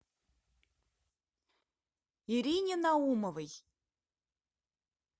ирине наумовой